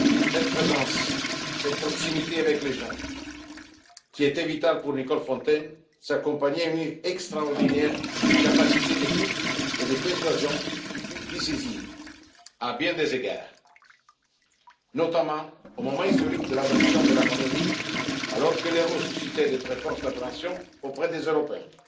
Cette présence, cette proximité avec les gens, qui étaient vitales pour Nicole Fontaine, s'accompagnaient d'une extraordinaire capacité d'écoute et de persuasion qui fut décisive à bien des égards, notamment au moment historique de l'adoption de la monnaie unique, alors que l'euro susciait de très fortes appréhensions auprès des Européens.